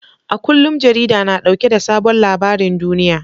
A kullum jarida na dauke da sabon labarin duniya.